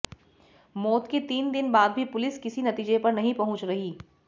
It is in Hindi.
मौत के तीन दिन बाद भी पुलिस किसी नतीजे पर नहीं पहुंच रही